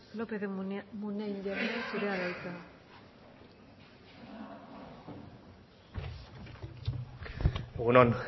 lópez de munain jauna zurea da hitza egun on